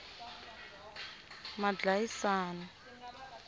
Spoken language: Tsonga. madlayisani